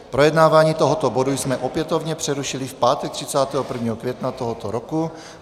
Projednávání tohoto bodu jsme opětovně přerušili v pátek 31. května tohoto roku.